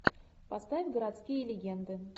поставь городские легенды